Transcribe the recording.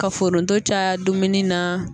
Ka foronto caya dumuni na